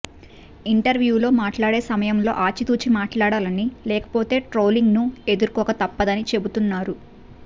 ఇంటర్వ్యూల్లో మాట్లాడే సమయంలో ఆచితూచి మాట్లాడాలని లేకపోతే ట్రోలింగ్ ను ఎదుర్కోక తప్పదని చెబుతున్నారు